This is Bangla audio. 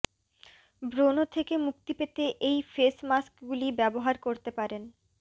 ব্রণ থেকে মুক্তি পেতে এই ফেস মাস্কগুলি ব্যবহার করতে পারেন